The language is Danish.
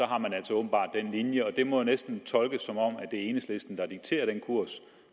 har man altså åbenbart den linje og det må næsten tolkes som om det er enhedslisten der dikterer den kurs